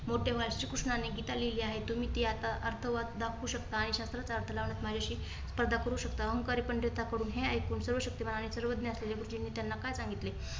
मोठे वाचिक श्री कृष्णाने गीता लिहिली आहे. तुम्ही आता अथवा दाखवू शकता आणि शास्त्रचा अर्थ लावत माझ्याशी स्पर्धा करू शकता. अहंकारी पंडितांकडून हे ऐकून सर्व शक्तिमान आणि सर्वज्ञा असलेले गुरुजीनी त्यांना काय सांगितले?